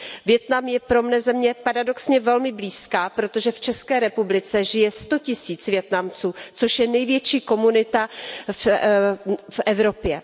Vietnam je pro mě země paradoxně velmi blízká, protože v České republice žije sto tisíc Vietnamců, což je největší komunita v Evropě.